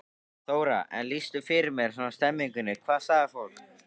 Þóra: En lýstu fyrir mér svona stemmingunni, hvað sagði fólk?